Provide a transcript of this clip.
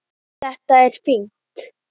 Þetta er fínt.